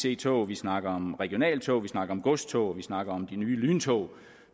ic tog vi snakker om regionaltog vi snakker om godstog og vi snakker om de nye lyntog